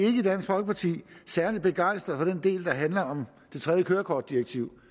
i dansk folkeparti særlig begejstrede for den del der handler om det tredje kørekortdirektiv